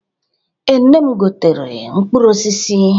Ee, nne m gotere mkpụrụ osisi.